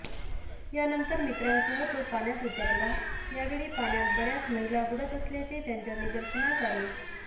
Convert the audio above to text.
यानंतर मित्रासह तो पाण्यात उतरला यावेळी पाण्यात बऱयाच महिला बुडत असल्याचे त्यांच्या निदर्शनास आले